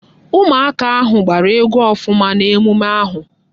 Ụmụ aka ahụ gbara egwu ọfụma n'emume ahụ